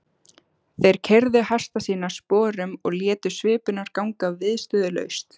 Þeir keyrðu hesta sína sporum og létu svipurnar ganga viðstöðulaust.